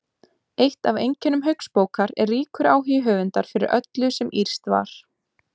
Eitt af einkennum Hauksbókar er ríkur áhugi höfundar fyrir öllu sem írskt var.